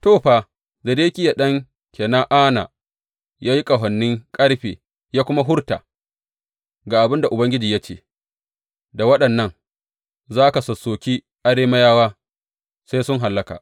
To, fa, Zedekiya ɗan Kena’ana ya yi ƙahonin ƙarfe, ya kuma furta, Ga abin da Ubangiji ya ce, Da waɗannan za ka sassoki Arameyawa sai sun hallaka.’